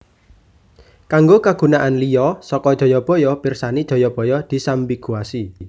Kanggo kagunaan liya saka Jayabaya pirsani Jayabaya disambiguasi